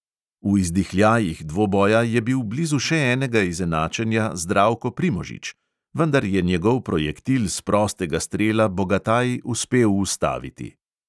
V izdihljajih dvoboja je bil blizu še enega izenačenja zdravko primožič, vendar je njegov projektil s prostega strela bogataj uspel ustaviti.